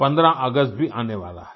15 अगस्त भी आने वाला है